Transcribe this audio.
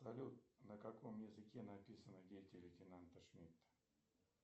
салют на каком языке написаны дети лейтенанта шмидта